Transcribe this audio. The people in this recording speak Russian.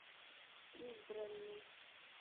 избранный